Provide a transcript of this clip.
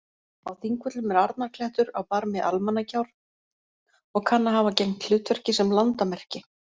Á Þingvöllum er Arnarklettur á barmi Almannagjár og kann að hafa gegnt hlutverki sem landamerki.